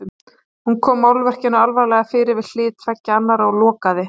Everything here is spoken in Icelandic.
Hún kom málverkinu varlega fyrir við hlið tveggja annarra og lokaði.